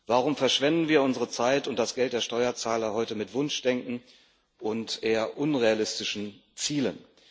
Warum verschwenden wir unsere Zeit und das Geld der Steuerzahler heute mit Wunschdenken und eher unrealistischen Zielen?